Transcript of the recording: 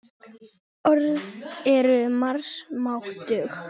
Orð eru margs máttug.